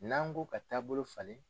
N'an ko ka taabolo falen.